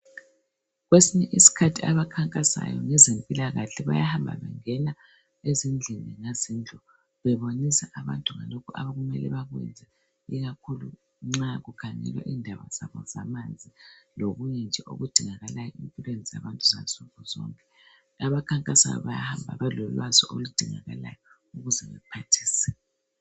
Kwesinye isikhathi abakhankasayo ngezempilakahle bayahamba bengena ezindlini ngazindlu bebonisa abantu ngalokhu okumele bakwenze ikakhulu nxa kukhangelwa indaba zabo zamanzi lokunye nje okudingakalayo empilweni zabantu zansuku zonke. Abakhankasayo bayahamba belolwazi oludingakalayo ukuze bephathise.